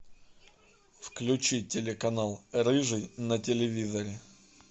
включи телеканал рыжий на телевизоре